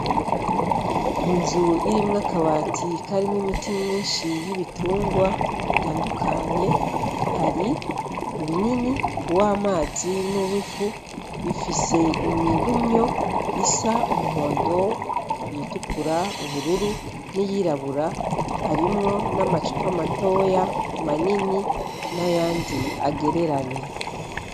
Inzu irimwo akabati karimwo imiti myinshi y'ibitungwa itandukanye, hari ibinini, uw'amazi n'uwifu, ifise imirumyo isa umuhondo; iyitukura; ubururu; n'iyirabura harimwo n'amacupa matoya; manini nayandi agereranye.